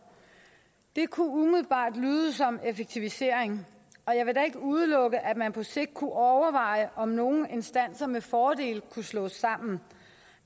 det kunne umiddelbart lyde som effektivisering og jeg vil da ikke udelukke at man på sigt kunne overveje om nogle instanser med fordel kunne slås sammen